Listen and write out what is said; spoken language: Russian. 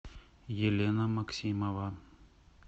елена максимова